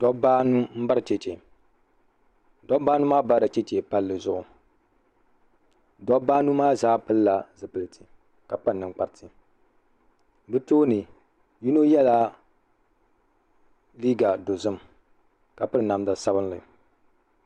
Dabba anu n bari chɛchɛ dabba anu maa nyarila chɛchɛ palli zuɣu dabba anu maa zaa pili la zupiliti ka kpa ninkpariti bi tooni yino yela liiga dozim ka piri namda sabinli.